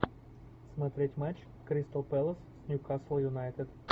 смотреть матч кристал пэлас с ньюкасл юнайтед